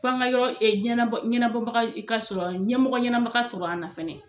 F'an ga yɔrɔ jɛnna bɔ ɲɛnabɔbaga ka sɔrɔ ɲɛmɔgɔ ɲɛnama ka sɔrɔ an na fɛnɛ.